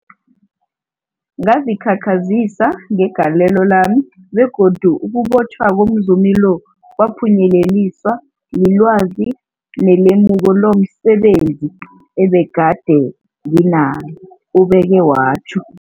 Ngazikhakhazisa ngegalelo lami, begodu ukubotjhwa komzumi lo kwaphunyeleliswa lilwazi nelemuko lomse benzi ebegade nginalo, ubeke watjho.